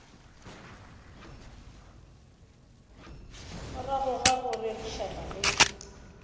morago ga go rerišana le